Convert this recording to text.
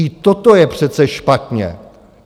I toto je přece špatně.